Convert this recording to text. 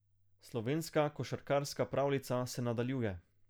Slovenska košarkarska pravljica se nadaljuje.